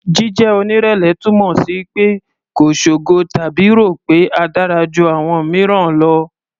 Jíjẹ́ onírẹ̀lẹ̀ túmọ̀ sí pé kò ṣogo tàbí rò pé a dára ju àwọn mìíràn lọ.